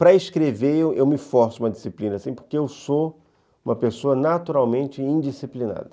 Para escrever, eu me forço uma disciplina, porque eu sou uma pessoa naturalmente indisciplinada.